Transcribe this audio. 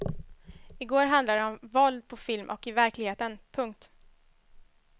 I går handlade det om våld på film och i verkligheten. punkt